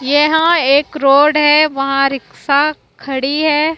यहां एक रोड है वहां रिक्शा खड़ी है।